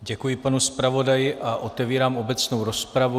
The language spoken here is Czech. Děkuji panu zpravodaji a otevírám obecnou rozpravu.